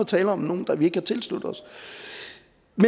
tale om nogen vi ikke har tilsluttet os